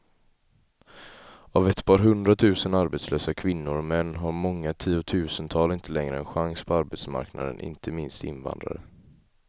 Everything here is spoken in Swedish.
Av ett par hundratusen arbetslösa kvinnor och män har många tiotusental inte längre en chans på arbetsmarknaden, inte minst invandrare.